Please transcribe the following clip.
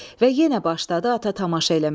Və yenə başladı ata tamaşa eləməyə.